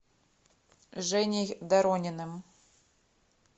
женей дорониным